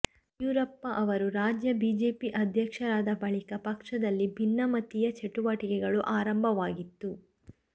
ಯಡಿಯೂರಪ್ಪ ಅವರು ರಾಜ್ಯ ಬಿಜೆಪಿ ಅಧ್ಯಕ್ಷರಾದ ಬಳಿಕ ಪಕ್ಷದಲ್ಲಿ ಭಿನ್ನಮತೀಯ ಚಟುವಟಿಕೆಗಳು ಆರಂಭವಾಗಿತ್ತು